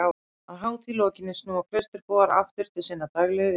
Að hátíð lokinni snúa klausturbúar aftur til sinnar daglegu iðju.